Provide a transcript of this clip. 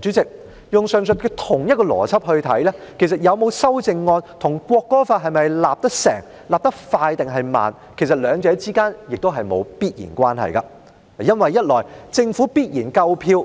主席，根據上述同一邏輯，其實有沒有修正案，與《條例草案》能否制定和制定得快或慢，兩者之間亦沒有必然關係，因為一來，政府必然夠票；